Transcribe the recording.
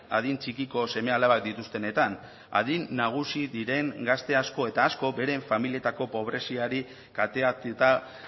adin txikiko seme alabak dituztenetan adin nagusi diren gazte asko eta asko beren familietako pobreziari kateatuta